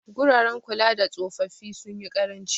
Guraren kulada tsofaffi sunyi ƙaranci.